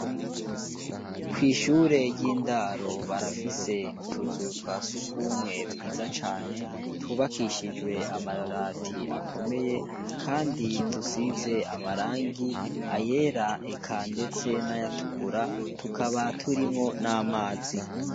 Kw'ishure ry'indaro barafise utuzu twa surwumwe twiza cane, twubakishijwe amabati akomeye, kandi dusize amarangi, ayera eka ,ndetse n'ayatukura, tukaba turimwo n'amazi.